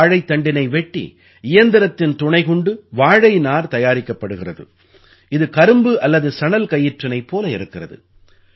வாழைத்தண்டினை வெட்டி இயந்திரத்தின் துணை கொண்டு வாழைநார் தயாரிக்கப்படுகிறது இது கரும்புஅல்லதுசணல்கயிற்றினைப் போல இருக்கிறது